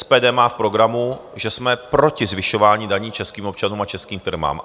SPD má v programu, že jsme proti zvyšování daní českým občanům a českým firmám.